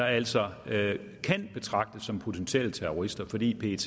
altså kan betragtes som potentielle terrorister fordi pet